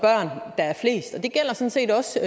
set også